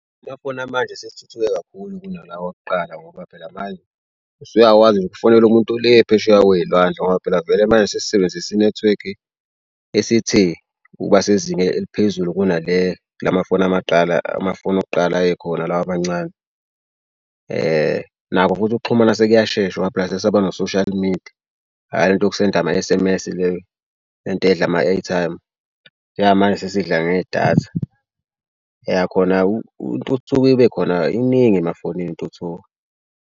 Amafoni amanje asethuthuke kakhulu kunalawa akuqala ngoba phela manje usuyakwazi nje ukufonela umuntu ole phesheya kwey'lwandle ngoba phela vele manje sesisebenzisa inethiwekhi esithe ukuba sezingeni eliphezulu kunale lamafoni amadala amafoni okuqala ayekhona lawa amancane. Nakho futhi ukuxhumana sekuyashesha ngoba phela sesaba no-social media hhayi le nto yokusenda ama-S_M_S le le nto edla ama-airtime. Njengamanje sesidla ngedatha. Yah khona intuthuko ibe khona iningi emafonini intuthuko.